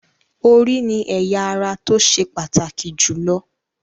Orí ni ẹ̀ya ara tó ṣe pàtàkì jù lọ